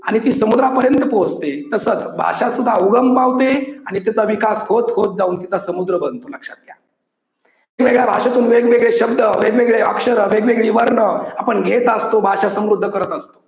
आणि ती समुद्रापर्यंत पोहोचते. तसंच भाषा सुद्धा उगम पावते आणि तिचा विकास होत होत जाऊन तिचा समुद्र बनतो लक्षात घ्या की वेगळ्या भाषेतून वेगवेगळे शब्द, वेगवेगळे अक्षर, वेगवेगळे वर्ण आपण घेत असतो. भाषा समृद्ध करत असतो.